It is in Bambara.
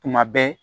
Tuma bɛɛ